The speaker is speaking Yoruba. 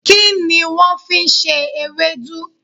Kíni wón fi n se ewédú?